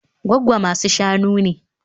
Gwaggo masu-shanu ne